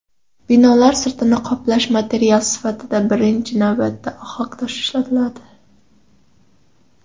Binolar sirtini qoplash materiali sifatida birinchi navbatda ohaktosh ishlatiladi.